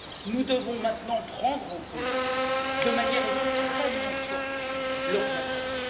Nous devons maintenant prendre en compte, de manière extrêmement forte, leurs attentes.